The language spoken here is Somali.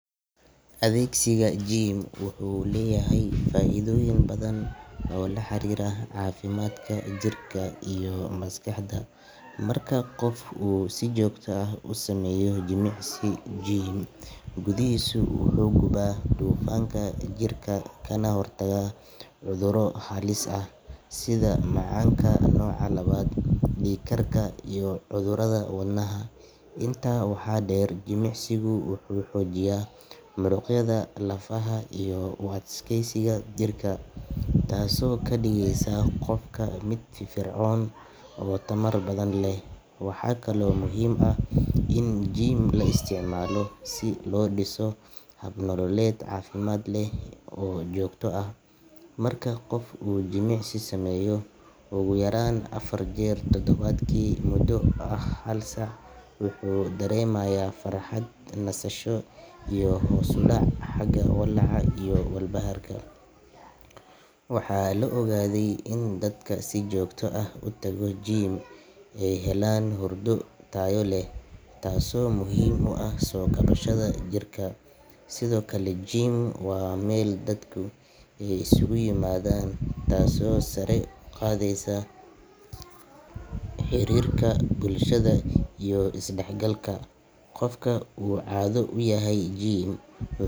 Adeegsiga gym wuxuu leeyahay faa'iidooyin badan oo la xiriira caafimaadka jirka iyo maskaxda. Marka qof uu si joogto ah u sameeyo jimicsi gym gudihiisa, wuxuu gubaa dufanka jirka kana hortagaa cudurro halis ah sida macaanka nooca labaad, dhiig karka iyo cudurrada wadnaha. Intaa waxaa dheer, jimicsigu wuxuu xoojiyaa muruqyada, lafaha iyo u adkeysiga jirka taasoo ka dhigaysa qofka mid firfircoon oo tamar badan leh. Waxaa kaloo muhiim ah in gym la isticmaalo si loo dhiso hab nololeed caafimaad leh oo joogto ah. Marka qof uu jimicsi sameeyo ugu yaraan afar jeer todobaadkii muddo ah hal saac, wuxuu dareemayaa farxad, nasasho iyo hoos u dhac xagga walaaca iyo walbahaarka. Waxaa la ogaaday in dadka si joogto ah u tago gym ay helaan hurdo tayo leh, taasoo muhiim u ah soo kabashada jirka. Sidoo kale, gym waa meel dadka ay isugu yimaadaan, taasoo sare u qaadaysa xiriirka bulshada iyo is dhexgalka. Qofka uu caado u yahay gym.